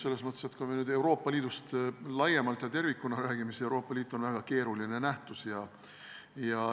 Selles mõttes, et kui me Euroopa Liidust laiemalt ja tervikuna räägime, siis Euroopa Liit on väga keeruline nähtus.